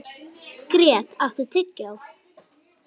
Grét, áttu tyggjó?